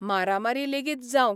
मारामारी लेगीत जावंक